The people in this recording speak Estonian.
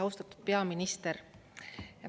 Austatud peaminister!